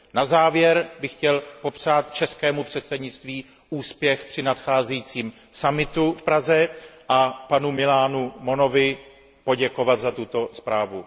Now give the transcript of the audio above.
Na závěr bych chtěl popřát českému předsednictví úspěch při nadcházejícím summitu v Praze a panu Millánu Monovi poděkovat za tuto zprávu.